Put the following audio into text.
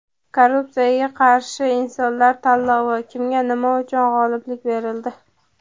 Korrupsiyaga qarshi insholar tanlovi: kimga nima uchun g‘oliblik berildi?.